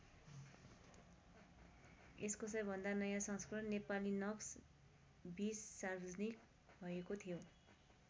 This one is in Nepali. यसको सबैभन्दा नयाँ संस्करण नेपालीनक्स २० सार्वजनिक भएको थियो।